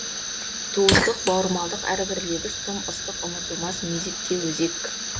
туыстық бауырмалдық әрбір лебіз тым ыстық ұмытылмас мезетке өзек